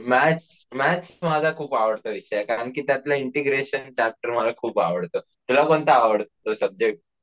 Maths maths माझा खूप आवडता विषय आहे कारण त्यातलं इंटिग्रेशन चॅप्टर मला खूप आवडतं, तुला कोणता आवडतो सब्जेक्ट?